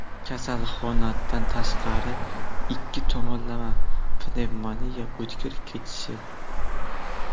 kasalxonadan tashqari ikki tomonlama pnevmoniya o‘tkir kechishi.